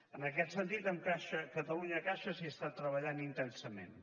en aquest sentit amb catalunyacaixa s’està treballant intensament